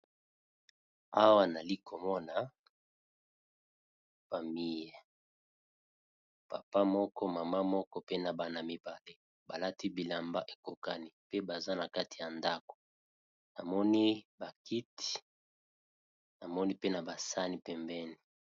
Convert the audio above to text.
awa nali komona famille papa moko mama moko pe na bana mibale balati bilamba ekokani pe baza na kati ya ndako namoni bakiti namoni pe na basani pembeni